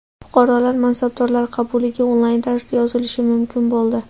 Fuqarolar mansabdorlar qabuliga onlayn tarzda yozilishi mumkin bo‘ldi.